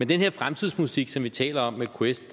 den her fremtidsmusik som vi taler om med quest